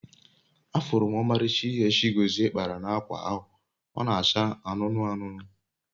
afuru m omalicha ihe Chigozie kpara na akwa ahu, o n'acha anunu anunu